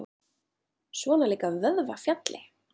Svona líka vöðvafjalli!